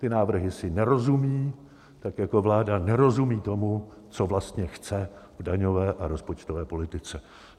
Ty návrhy si nerozumějí, tak jako vláda nerozumí tomu, co vlastně chce v daňové a rozpočtové politice.